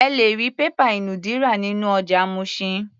Ẹ lè rí pépà ìnùdí rà nínú ọjà Mushin.